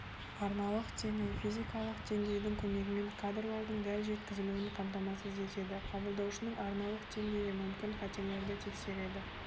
арналық деңгей физикалық деңгейдің көмегімен кадрлардың дәл жеткізілуін қамтамасыз етеді қабылдаушының арналық деңгейі мүмкін қателерді тексереді